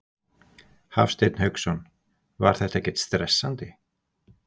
Hafsteinn Hauksson: Var þetta ekkert stressandi?